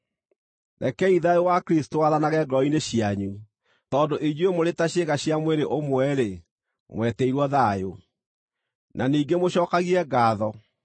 Rekei thayũ wa Kristũ wathanage ngoro-inĩ cianyu, tondũ inyuĩ mũrĩ ta ciĩga cia mwĩrĩ ũmwe-rĩ, mwetĩirwo thayũ. Na ningĩ mũcookagie ngaatho.